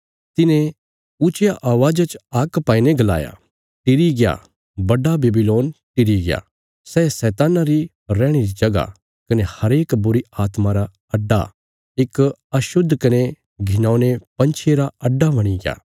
तिने ऊच्चिया अवाज़ा च हाक पाईने गलाया टिरी गया बड्डा बेबीलोन टिरी गया सै शैतान्ना री रैहणे री जगह कने हरेक बुरीआत्मा रा अड्डा इक अशुद्ध कने घिनौने पंछिये रा अड्डा बणीग्या